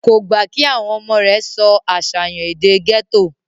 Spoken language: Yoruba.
kò gbà kí àwọn ọmọ rẹ̀ sọ àṣàyàn èdè gẹ́tò